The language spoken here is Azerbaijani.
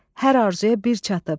Hər arzuya bir çatıb.